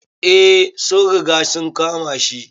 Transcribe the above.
Eh, sun riga sun kama shi.